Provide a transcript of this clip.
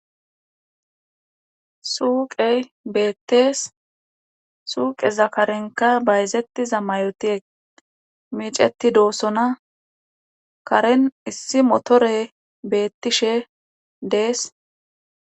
suuqey beettees suuqe zakarenka bayzettiza mayotie miiceti doossona karen issi motore beettishe de'es